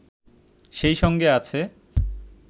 সেই সঙ্গে আছে